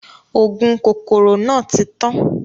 Ògùn kòkòrò náà tí tán.